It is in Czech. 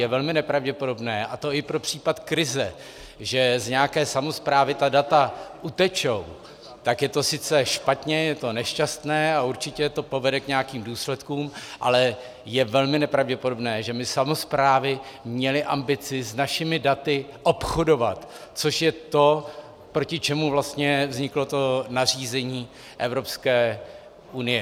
Je velmi nepravděpodobné, a to i pro případ krize, že z nějaké samosprávy ta data utečou, tak je to sice špatně, je to nešťastné a určitě to povede k nějakým důsledkům, ale je velmi nepravděpodobné, že by samosprávy měly ambici s našimi daty obchodovat, což je to, proti čemuž vlastně vzniklo to nařízení Evropské unie.